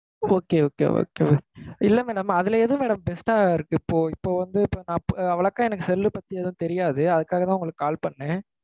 Okay okay okay okay இல்ல madam. அதுல எது madam best ஆ இருக்கு? இப்போ, இப்போ வந்து, இப்போ நான், அஹ் வழக்கா எனக்கு cell அ பத்தி எதுவும் தெரியாது. அதுக்காக தான் உங்களுக்கு call பண்ணேன்.